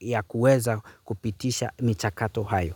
ya kuweza kupitisha michakato hayo.